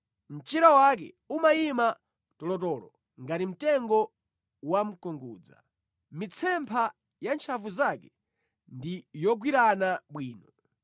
Mchira wake umayima tolotolo ngati mtengo wamkungudza; mitsempha ya ntchafu zake ndi yogwirana bwino.